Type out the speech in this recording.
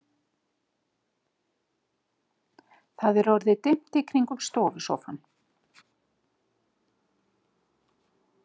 Það er orðið dimmt í kringum stofusófann.